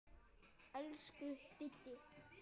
Elsku Diddi.